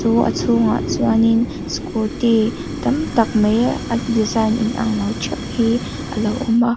chu a chhungah chuanin scooty tam tak mai a design in anglo ṭheuh hi alo awm a.